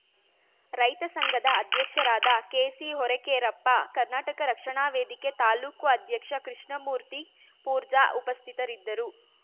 ರೈತ ಸಂಘದ ಅಧ್ಯಕ್ಷರಾದ ಕೆಸಿಹೊರಕೇರಪ್ಪ ಕರ್ನಾಟಕ ರಕ್ಷಣಾ ವೇದಿಕೆ ತಾಲ್ಲೂಕು ಅಧ್ಯಕ್ಷ ಕೃಷ್ಣಮೂರ್ತಿ ಪೂರ್ಜಾ ಉಪಸ್ಥಿತರಿದ್ದರು